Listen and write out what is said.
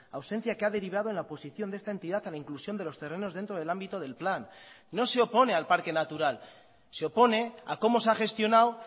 ausencia que ha derivado en la oposición de esta entidad a la inclusión de los terrenos dentro del ámbito del plan no se opone al parque natural se opone a como se ha gestionado